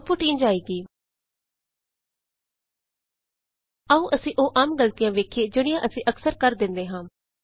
output ਇੰਝ ਆਏਗੀ ਆਉ ਅਸੀਂ ਉਹ ਆਮ ਗਲਤੀਆਂ ਵੇਖੀਏ ਜਿਹੜੀਆਂ ਅਸੀਂ ਅਕਸਰ ਕਰ ਦਿੰਦੇ ਹਾਂ